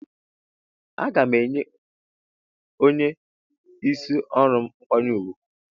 Ee aga enye onye isi ọrụm mkwanye ugwu.